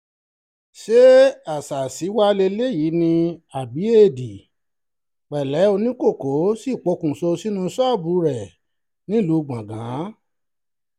ṣé àṣàsí wàá lélẹ́yìí ni àbí éèdì pẹ̀lẹ́ oníkókó sì pokùṣọ̀ sínú ṣọ́ọ̀bù rẹ nílùú gbọ̀ngàn